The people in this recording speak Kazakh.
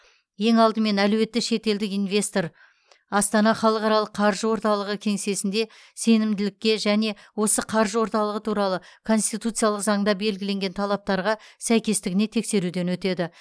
ең алдымен әлеуетті шетелдік инвестор астана халықаралық қаржы орталығы кеңсесінде сенімділікке және осы қаржы орталығы туралы конституциялық заңда белгіленген талаптарға сәйкестігіне тексеруден өтеді